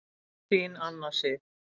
Þín Anna Sif.